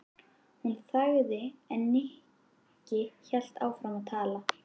Hún þagði en Nikki hélt áfram að tala.